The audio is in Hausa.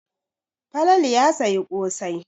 Falalau ya sayi ƙosai.